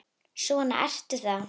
Svona ertu þá!